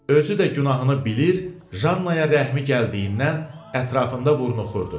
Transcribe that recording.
Özü də günahını bilir, Jannaya rəhmi gəldiyindən ətrafında vurnuxurdu.